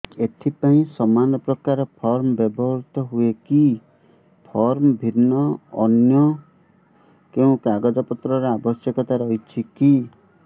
ଏଥିପାଇଁ ସମାନପ୍ରକାର ଫର୍ମ ବ୍ୟବହୃତ ହୂଏକି ଫର୍ମ ଭିନ୍ନ ଅନ୍ୟ କେଉଁ କାଗଜପତ୍ରର ଆବଶ୍ୟକତା ରହିଛିକି